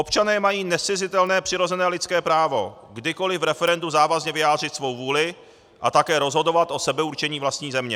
Občané mají nezcizitelné přirozené lidské právo kdykoliv v referendu závazně vyjádřit svou vůli a také rozhodovat o sebeurčení vlastní země.